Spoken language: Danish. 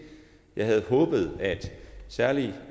jeg havde håbet at særlig